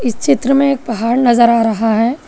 इस चित्र में एक पहाड़ नजर आ रहा है।